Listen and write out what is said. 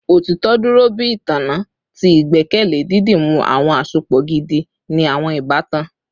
Otitọ duro bi itanna ti igbẹkẹle, didimu awọn asopọ gidi ni awọn ibatan